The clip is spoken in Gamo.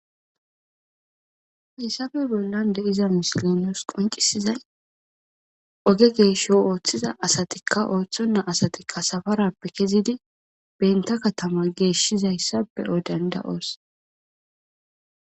hayssafe bollan de iza misilinos qoncisizay oge geesho ooththiza asatikka ooththonna asatikka safarappe kezidi benta katama geeshshizayssa pe odanda7oos